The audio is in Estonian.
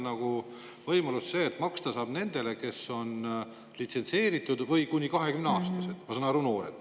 Seal on kirjas, et maksta saab nendele, või kes on kuni 20-aastased, ma saan aru, et noored.